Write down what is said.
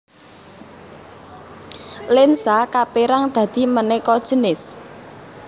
Lensa kaperang dadi maneka jinis